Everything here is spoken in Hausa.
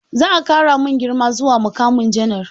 Za a ƙara mun girma zuwa muƙamin janar.